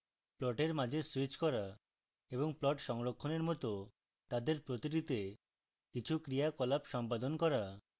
প্লটের মাঝে স্যুইচ করা এবং plots সংরক্ষণের মত তাদের প্রতিটিতে কিছু ক্রিয়াকলাপ সম্পাদন করা